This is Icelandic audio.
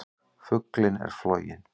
Fuglinn er floginn!